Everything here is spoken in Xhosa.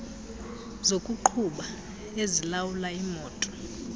zokuqhuba ezilawula imoto